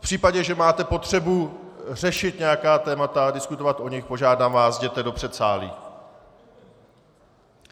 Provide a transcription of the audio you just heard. V případě, že máte potřebu řešit nějaká témata, diskutovat o nich, požádám vás, jděte do předsálí.